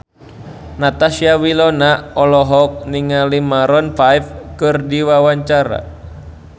Natasha Wilona olohok ningali Maroon 5 keur diwawancara